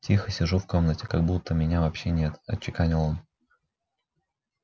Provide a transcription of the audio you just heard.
тихо сижу в комнате как будто меня вообще нет отчеканил он